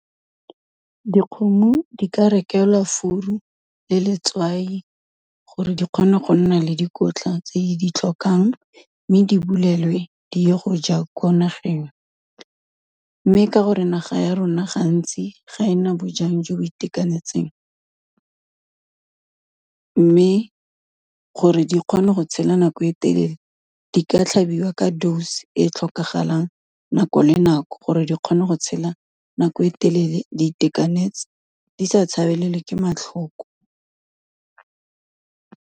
Dikgomo di ka rekelwa furu le letswai, gore di kgone go nna le dikotla tse di tlhokang mme di bulelwe di ye go ja ko nageng, mme ka gore naga ya rona gantsi ga ena bojang jo bo itekanetseng, mme gore di kgone go tshela nako e telele, di ka tlhabiwa ka dose e tlhokagalang nako le nako, gore di kgone go tshela nako e telele di tekanetse di sa tshabelelwe ke matlhoko.